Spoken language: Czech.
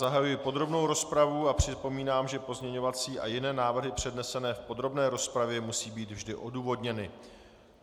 Zahajuji podrobnou rozpravu a připomínám, že pozměňovací a jiné návrhy přednesené v podrobné rozpravě musí být vždy odůvodněny.